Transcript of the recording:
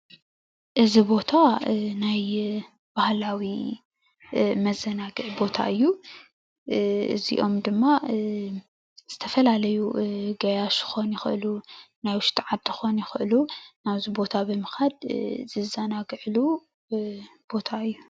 እዚ ቦታ ናይ ባህላዊ መዘናግዒ ቦታ እዩ እዚ ኦም ድማ ዝተፈላለዩ ገያሾ ክኮኑ ይክእሉ ናይ ውሽጢ ዓዲ ክኮኑ ይክእሉ ናብዚ ቦታ ብምካድ ዝዘናግዕሉ ቦታ እዩ።